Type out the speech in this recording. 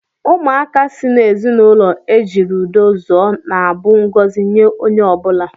Ụmụaka si n'ezinụlọ ejiri udo zụọ na-abụ ngọzi nye onye ọ bụla.